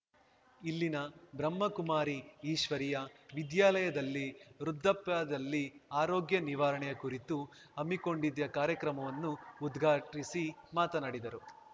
ಇಲ್ಲಿನ ಬ್ರಹ್ಮಕುಮಾರಿ ಈಶ್ವರಿಯ ವಿದ್ಯಾಲಯದಲ್ಲಿ ವೃದ್ಧಾಪ್ಯದಲ್ಲಿ ಆರೋಗ್ಯ ನಿವಾರಣೆ ಕುರಿತು ಹಮ್ಮಿಕೊಂಡಿದ್ದ ಕಾರ್ಯಕ್ರಮವನ್ನು ಉದ್ಘಾಟಿಸಿ ಮಾತನಾಡಿದರು